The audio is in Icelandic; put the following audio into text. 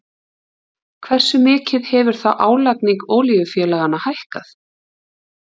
Hversu mikið hefur þá álagning olíufélaganna hækkað?